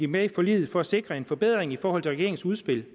med i forliget for at sikre en forbedring i forhold til regeringens udspil